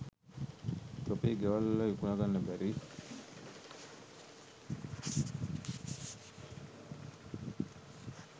තොපේ ගෙවල් වල විකුණ ගන්න බැරි